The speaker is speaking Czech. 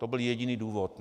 To byl jediný důvod.